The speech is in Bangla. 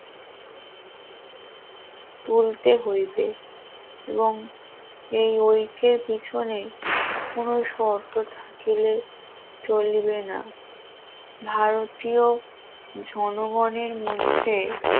তুলতে হইবে এবং এই উইকের পিছনে কোন শর্ত থাকলে চলবে না ভারতীয় জনগণের মধ্যে